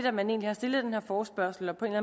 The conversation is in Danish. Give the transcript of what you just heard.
at man egentlig har stillet den her forespørgsel og på en